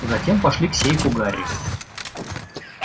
затем пошли к сейфу гарри